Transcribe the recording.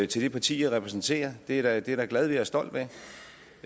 til det parti jeg repræsenterer det er jeg da glad for og stolt af